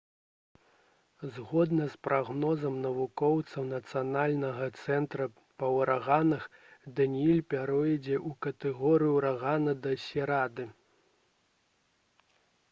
згодна з прагнозам навукоўцаў нацыянальнага цэнтра па ўраганах даніэль пяройдзе ў катэгорыю ўрагану да серады